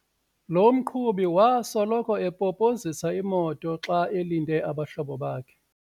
Lo mqhubi wasoloko epopozisa imoto xa elinde abahlobo bakhe.